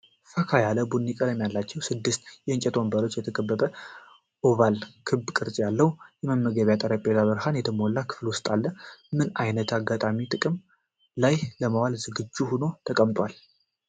ፈካ ያለ ቡኒ ቀለም ባላቸው ስድስት እንጨት ወንበሮች የተከበበ እና ኦቫል (ክብ) ቅርፅ ያለው የመመገቢያ ጠረጴዛ በብርሃን በተሞላው ክፍል ውስጥ አለ። በምን አይነት አጋጣሚ ጥቅም ላይ ለመዋል ዝግጁ ሆኖ ተቀምጧል?